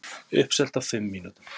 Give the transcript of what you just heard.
Uppselt á fimm mínútum